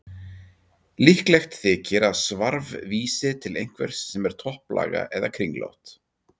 Líklegt þykir að svarf vísi til einhvers sem er topplaga eða kringlótt.